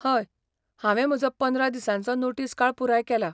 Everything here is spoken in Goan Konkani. हय, हांवें म्हजो पंदरा दिसांचो नोटीस काळ पुराय केला.